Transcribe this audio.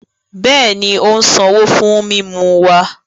Bẹẹni, o n sanwo fún mímú wa